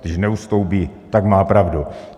Když neustoupí, tak má pravdu.